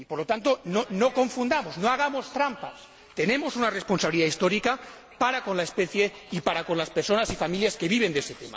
Por lo tanto, no confundamos, no hagamos trampa, tenemos una responsabilidad histórica para con la especie y para con las personas y familias que viven de ese tema.